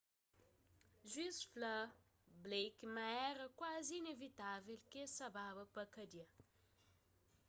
juiz fla blake ma éra kuazi inivitável ki el sa baba pa kadia